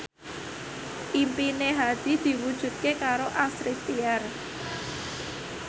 impine Hadi diwujudke karo Astrid Tiar